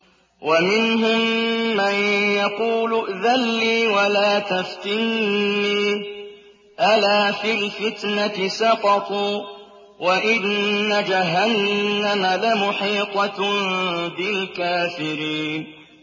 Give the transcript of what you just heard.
وَمِنْهُم مَّن يَقُولُ ائْذَن لِّي وَلَا تَفْتِنِّي ۚ أَلَا فِي الْفِتْنَةِ سَقَطُوا ۗ وَإِنَّ جَهَنَّمَ لَمُحِيطَةٌ بِالْكَافِرِينَ